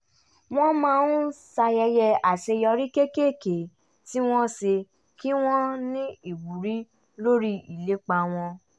wọ́n máa ń ṣayẹyẹ àṣeyọrí kéékèèké tí wọ́n ṣe kí wọ́n ní ìwúrí lórí ìlépa wọn